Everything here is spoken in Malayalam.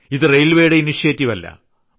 ഇത് റെയിൽവേയുടെ ഇനീഷ്യേറ്റീവ് അല്ല